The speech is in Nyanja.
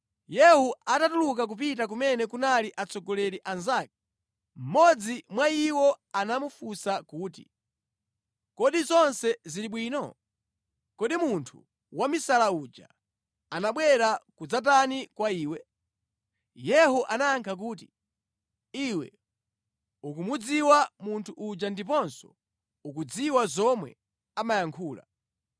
Yehu atatuluka kupita kumene kunali atsogoleri anzake, mmodzi mwa iwo anamufunsa kuti, “Kodi zonse zili bwino? Kodi munthu wamisala uja anabwera kudzatani kwa iwe?” Yehu anayankha kuti, “Iwe ukumudziwa munthu uja ndiponso ukudziwa zomwe amayankhula.”